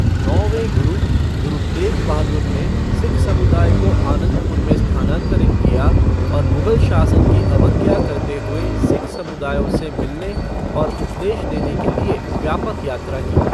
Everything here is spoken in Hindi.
नौवें गुरु, गुरु तेघ बहादुर ने सिख समुदाय को आनंदपुर में स्थानांतरित किया और मुगल शासन की अवज्ञा करते हुए सिख समुदायों से मिलने और उपदेश देने के लिए व्यापक यात्रा की।